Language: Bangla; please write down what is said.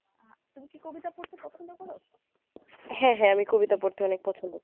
হ্যা হ্যা আমি কবিতা পড়তে অনেক পছন্দ